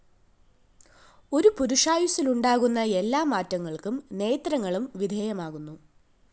ഒരു പുരുഷായുസ്സില്‍ ഉണ്ടാകുന്ന എല്ലാമാറ്റങ്ങള്‍ക്കും നേത്രങ്ങളും വിധേയമാകുന്നു